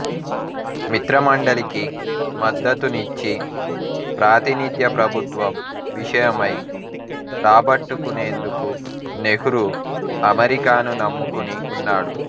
మిత్రమండలికి మద్దతునిచ్చి ప్రాతినిధ్య ప్రభుత్వం విషయమై రాబట్టుకునేందుకు నెహ్రూ అమెరికాను నమ్ముకుని ఉన్నాడు